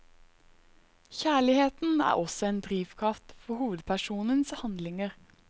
Kjærligheten er også en drivkraft for hovedpersonens handlinger.